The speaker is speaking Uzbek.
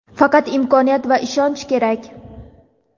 Faqat imkoniyat va ishonch kerak.